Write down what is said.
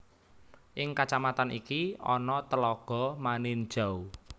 Ing kacamatan iki ana tlaga Maninjau